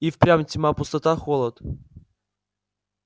и впрямь тьма пустота холод